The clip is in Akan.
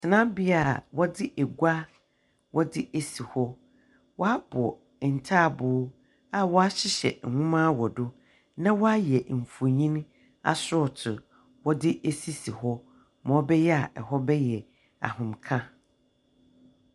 Tsenabea a wɔdze agua wɔdze esi hɔ. Wɔabɔ ntabow a wɔahyehyw nwoma wɔ do na wɔayɛ mfonin asorɔtow wɔdze esisi hɔ ma ɔbɛyɛ a hɔ bɛyɛ ahomeka.